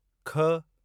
ख